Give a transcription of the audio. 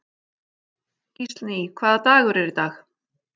Gíslný, hvaða dagur er í dag?